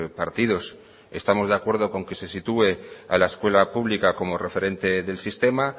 partidos estamos de acuerdo con que se sitúe a la escuela pública como referente del sistema